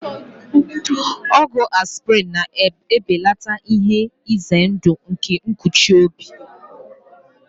Ọgwụ aspịrịn na-ebelata ihe ize ndụ nke nkụchi obi.